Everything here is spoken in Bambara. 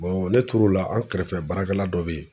ne tor'o la an kɛrɛfɛ baarakɛla dɔ be ye